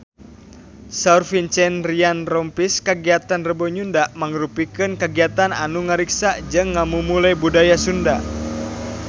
Saur Vincent Ryan Rompies kagiatan Rebo Nyunda mangrupikeun kagiatan anu ngariksa jeung ngamumule budaya Sunda